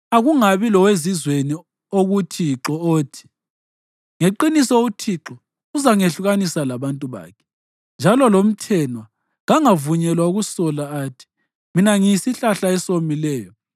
Akungabi lowezizweni okuThixo othi, “Ngeqiniso uThixo uzangehlukanisa labantu bakhe.” Njalo lomthenwa kangavunyelwa ukusola athi, “Mina ngiyisihlahla esomileyo.”